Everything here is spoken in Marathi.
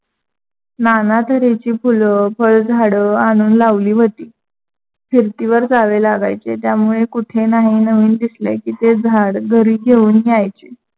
नाना तऱ्हेची फुलंं, फळ-झाडं आणून लावली होती. फिरतीवर जावे लागायचे त्यामुळे कुठे नाही नवीन दिसले की ते झाड घरी घेऊन यायचे.